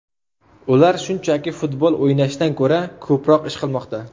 Ular shunchaki futbol o‘ynashdan ko‘ra ko‘proq ish qilmoqda.